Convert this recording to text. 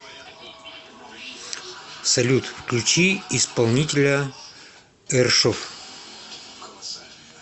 салют включи исполнителя эршов